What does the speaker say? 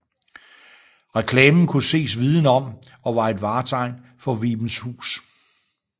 Reklamen kunne ses viden om og var et vartegn for Vibenshus